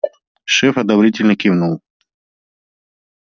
шеф одобрительно кивнул